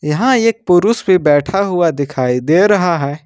यहां एक पुरुष भी बैठा हुआ दिखाई दे रहा है।